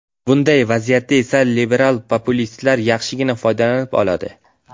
Bunday vaziyatda esa liberal populistlar yaxshigina foydalanib qoladi.